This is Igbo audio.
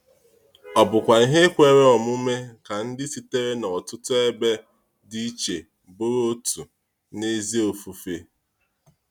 Ọ̀ bụkwa ihe kwere omume ka ndị sitere n’ọtụtụ ebe dị iche bụrụ otu n’ezi ofufe?